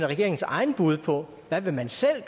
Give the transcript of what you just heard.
regeringens eget bud på hvad man selv